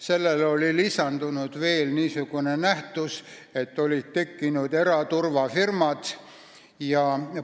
Sellele oli lisandunud veel niisugune nähtus, et olid tekkinud eraturvafirmad ja ...